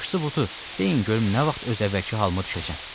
Yaxşısı budur, deyin görüm nə vaxt öz əvvəlki halıma düşəcəm.